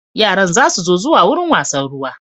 Yaran za su so zuwa wurin wasann ruwa